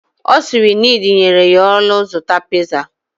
Osiri nid nyere ya olu zuta pizza